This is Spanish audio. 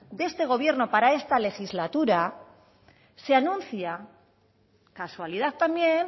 de este gobierno para esta legislatura se anuncia casualidad también